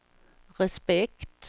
respekt